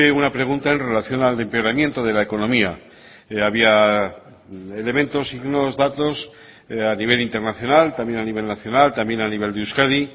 una pregunta en relación al empeoramiento de la economía había elementos signos datos a nivel internacional también a nivel nacional también a nivel de euskadi